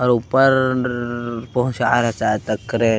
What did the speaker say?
और ऊपरर पंहुचाये ल शायद क्रेन --